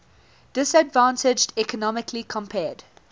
disadvantaged economically compared